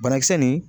Banakisɛ nin